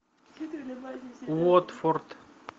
уотфорд